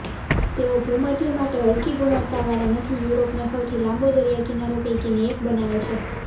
તેઓ ભૂમધ્ય માટે હલકી ગુણવત્તાવાળા નથી યુરોપનો સૌથી લાંબો દરિયાકિનારો પૈકીની એક બનાવે છે